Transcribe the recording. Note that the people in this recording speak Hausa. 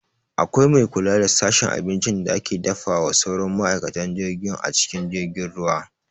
Akwai mai kula da sashen abincin da ake dafawa sauran ma'aikatan jirgin a cikin jirgin ruwa